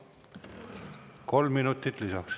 Kolm minutit lisaks.